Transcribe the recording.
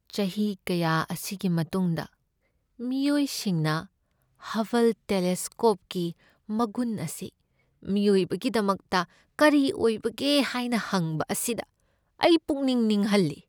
ꯆꯍꯤ ꯀꯌꯥ ꯑꯁꯤꯒꯤ ꯃꯇꯨꯡꯗ, ꯃꯤꯑꯣꯏꯁꯤꯡꯅ ꯍꯕꯜ ꯇꯦꯂꯦꯁꯀꯣꯞꯀꯤ ꯃꯒꯨꯟ ꯑꯁꯤ ꯃꯤꯑꯣꯏꯕꯒꯤꯗꯃꯛꯇ ꯀꯔꯤ ꯑꯣꯏꯕꯒꯦ ꯍꯥꯏꯅ ꯍꯪꯕ ꯑꯁꯤꯗ ꯑꯩ ꯄꯨꯛꯅꯤꯡ ꯅꯤꯡꯍꯜꯂꯤ꯫